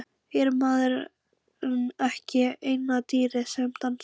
Er maðurinn ekki eina dýrið sem dansar?